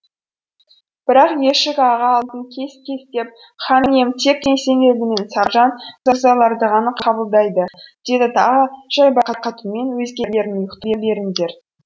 бірақ ешік аға алдын кес кестеп хан ием тек есенгелді мен саржан мырзаларды ғана қабылдайды деді тағы да жайбарақат үнмен өзгелерің ұйықтай беріңдер